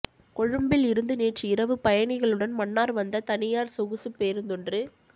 கொழும்பில் இருந்து நேற்று இரவு பயணிகளுடன் மன்னார் வந்த தனியார் சொகுசு பேருந்தொன்று